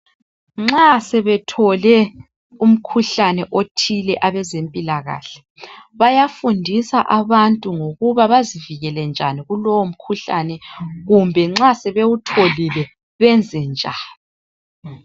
Nxa sebethole umkhuhlane othile abezempilakahle bayafundisa abantu ngokuba bazivikele njani kulowomkhuhlane kumbe nxa sebewutholile benze njani.